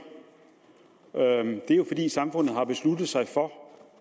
det er jo fordi samfundet har besluttet sig for